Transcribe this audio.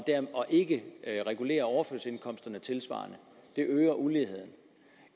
ikke regulere overførselsindkomsterne tilsvarende øger uligheden